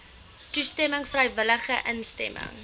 toestemming vrywillige instemming